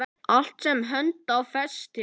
Allt sem hönd á festir.